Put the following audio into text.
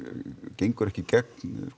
gengur ekki í gegn